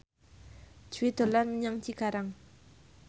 Jui dolan menyang Cikarang